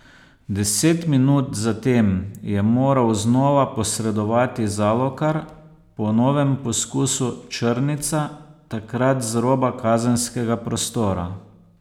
Deset minut zatem je moral znova posredovati Zalokar po novem poskusu Črnica, takrat z roba kazenskega prostora.